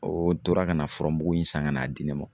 O tora kana furamugu in san ka n'a di ne ma